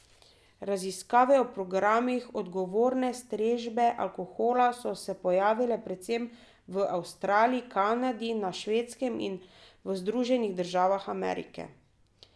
Raziskave o programih odgovorne strežbe alkohola so se pojavile predvsem v Avstraliji, Kanadi, na Švedskem in v Združenih državah Amerike.